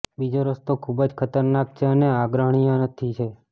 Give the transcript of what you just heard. બીજો રસ્તો ખૂબ જ ખતરનાક છે અને આગ્રહણીય નથી છે